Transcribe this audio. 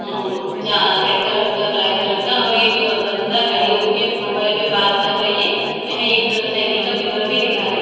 ऊ जहां red colour का ब्लैक कलर का और एक बंदा खड़े होके मोबाइल पर बात कर रही है यह एक साइकिल का मिरर भी दिखा रही--